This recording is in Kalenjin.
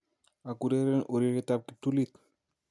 Akureren ureriet ab kiptulit